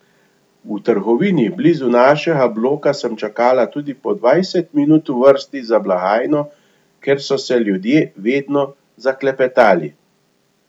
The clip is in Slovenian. V trgovini blizu našega bloka sem čakala tudi po dvajset minut v vrsti za blagajno, ker so se ljudje vedno zaklepetali.